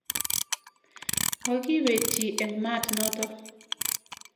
Makipet chi eng' maat natak.